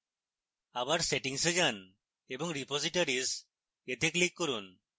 আবার setting এ যান এবং repositories এ click করুন